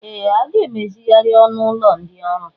Ee! A ga-emezigharị ọnụ ụlọ ndị ọrụ.